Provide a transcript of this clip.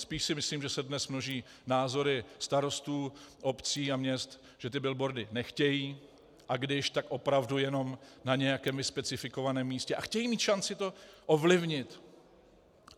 Spíš si myslím, že se dnes množí názory starostů, obcí a měst, že ty billboardy nechtějí, a když, tak opravdu jenom na nějakém nespecifikovaném místě, a chtějí mít šanci to ovlivnit.